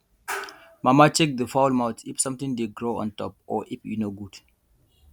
mama check the fowl mouth if something dey grow on top or if e no good